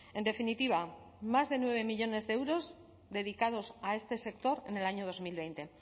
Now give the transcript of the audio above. en definitiva más de nueve millónes de euros dedicados a este sector en el año dos mil veinte